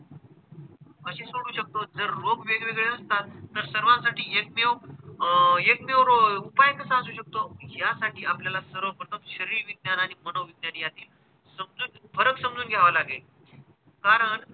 अशी सोडू शकतो जर रोग वेगवेगळे असतात तर सर्वांसाठी एकमेव अह एकमेव रो उपाय कसा असू शकतो यासाठी आपल्याला सर्व प्रथम शरीरविज्ञान आणि आणि मनोविज्ञान यांनी समजून फरक समजून घ्यावे लागेल. कारण,